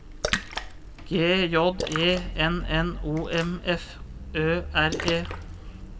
G J E N N O M F Ø R E